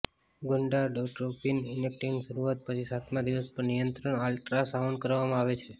ગુંડાડોટ્રોપીન ઇનટેકની શરૂઆત પછી સાતમા દિવસ પર નિયંત્રણ અલ્ટ્રાસાઉન્ડ કરવામાં આવે છે